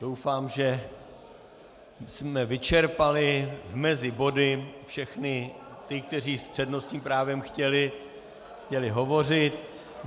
Doufám, že jsme vyčerpali mezi body všechny ty, kteří s přednostním právem chtěli hovořit.